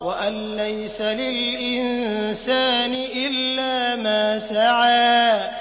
وَأَن لَّيْسَ لِلْإِنسَانِ إِلَّا مَا سَعَىٰ